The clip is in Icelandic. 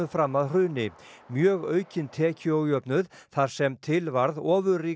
fram að hruni mjög aukinn tekjuójöfnuð þar sem til varð